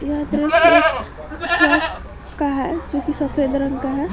यह दृश्य एक ट्रक का है जो कि सफेद रंग का है।